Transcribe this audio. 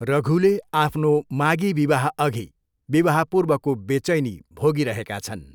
रघुले आफ्नो मागी विवाहअघि विवाहपूर्वको बेचैनी भोगी रहेका छन्।